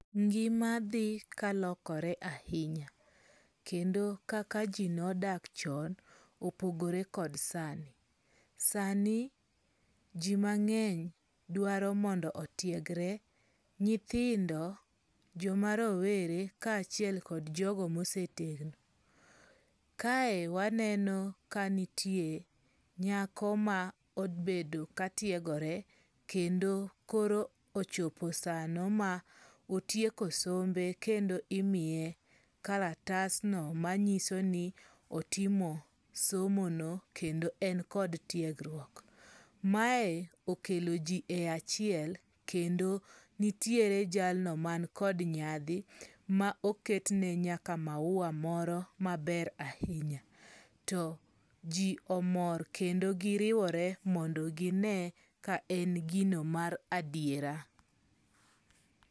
Ngimadhi kalokore ahinya. Kendo kaka ji nodak chon, opogore kod sani. Sani ji mang'eny dwaro mondo otiegre, nyithindo, joma rowere kaachiel kod jogo mosetegno. Kae waneno kanitie nyako ma obedo katiegore kendo koro ochopo sano ma otieko sombe kendo imiye kalatasno manyiso ni otimo somono kendo en kod tiegruok. Mae okeloji e achiel, kendo nitiere jalno man kod nyadhi ma oketne nyaka maua moro maber ahinya. To ji omor kendo giriwore mondo gine ka en gino mar adiera.